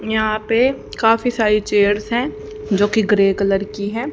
यहां पे काफी सारी चेयर्स है जो की ग्रे कलर की है।